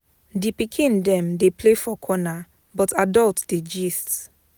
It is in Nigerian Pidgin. Di pikin dem dey play for corner, but adult dey gist.